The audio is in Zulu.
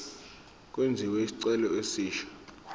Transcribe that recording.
kwenziwe isicelo esisha